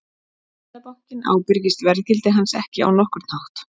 Seðlabankinn ábyrgist verðgildi hans ekki á nokkurn hátt.